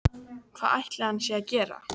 Hvað ætli hann sé að gera